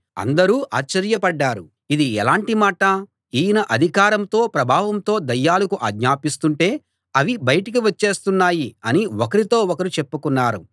అందరూ ఆశ్చర్య పడ్డారు ఇది ఎలాటి మాట ఈయన అధికారంతో ప్రభావంతో దయ్యాలకు ఆజ్ఞాపిస్తుంటే అవి బయటికి వచ్చేస్తున్నాయి అని ఒకరితో ఒకరు చెప్పుకున్నారు